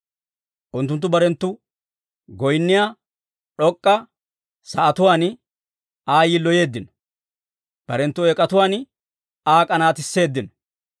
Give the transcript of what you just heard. Unttunttu barenttu goyinniyaa d'ok'k'a sa'atuwaan Aa yiloyeeddino; barenttu eek'atuwaan Aa k'anaatisseeddino.